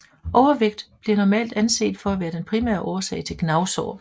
Overvægt bliver normalt anset for at være den primære årsag til gnavsår